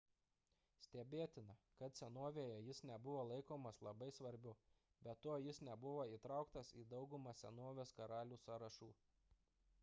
stebėtina kad senovėje jis nebuvo laikomas labai svarbiu be to jis nebuvo įtrauktas į daugumą senovės karalių sąrašų